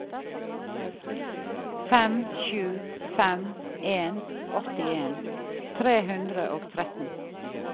fem sju fem en åttien tre hundre og tretten